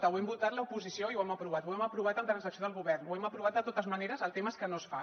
ho hem votat l’oposició i ho hem aprovat ho hem aprovat amb transacció del govern ho hem aprovat de totes maneres el tema és que no es fa